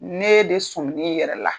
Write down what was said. Ne e de somi n'i yɛrɛ la.